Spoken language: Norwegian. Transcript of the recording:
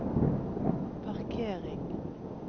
parkering